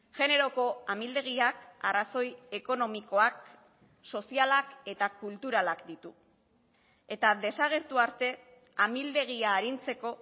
generoko amildegiak arrazoi ekonomikoak sozialak eta kulturalak ditu eta desagertu arte amildegia arintzeko